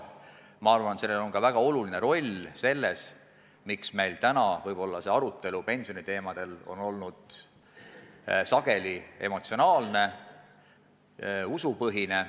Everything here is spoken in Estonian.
Usun, et sellel probleemil on väga oluline roll selles, miks meil see arutelu pensioniteemadel on olnud suurel määral emotsionaalne, usupõhine.